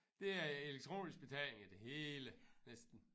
Det er elektronisk betaling det hele næsten